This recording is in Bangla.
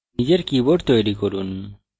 নিজের board তৈরি করুন